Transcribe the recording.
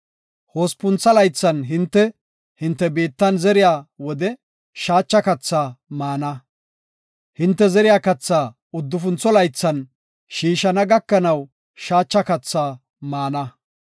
Hospuntha laythan hinte, hinte biittan zeriya wode shaacha kathaa maana. Hinte zeriya kathaa uddufuntho laythan shiishana gakanaw shaacha kathaa maana.